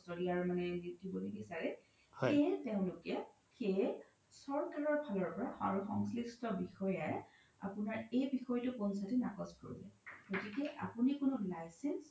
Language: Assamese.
কস্ত দিব নিবিচাৰে সেইহে তেওলোকে সেই চৰকাৰ ফালৰ পৰা সংলিস্ত বিষয়াই আপোনাৰ এই বিষয়তো পঞ্চায়তে নাকচ কৰিলে গতিকে আপোনি কোনো license